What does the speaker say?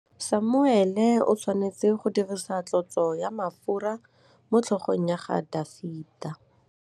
Samuele o tshwanetse go dirisa tlotsô ya mafura motlhôgong ya Dafita.